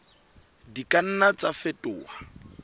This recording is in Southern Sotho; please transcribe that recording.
di ka nna tsa fetoha